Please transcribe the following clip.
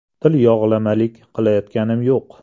Tilyog‘lamalik qilayotganim yo‘q.